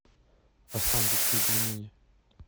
останкинские пельмени